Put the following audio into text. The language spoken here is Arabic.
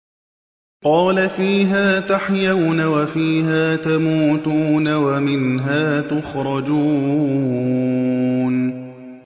قَالَ فِيهَا تَحْيَوْنَ وَفِيهَا تَمُوتُونَ وَمِنْهَا تُخْرَجُونَ